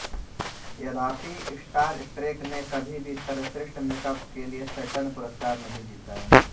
तथापि Star Trek ने कभी भी सर्वश्रेष्ठ मेकअप के लिए सैटर्न पुरस्कार नहीं जीता